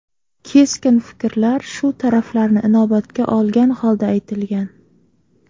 Keskin fikrlar shu taraflarni inobatga olgan holda aytilgan.